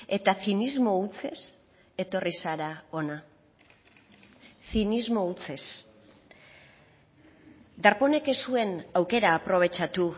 eta zinismo hutsez etorri zara hona zinismo hutsez darponek ez zuen aukera aprobetxatu